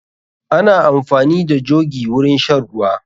Ana amfani da jogi wurin shan ruwa.